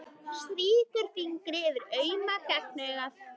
Strýkur fingri varlega yfir auma gagnaugað.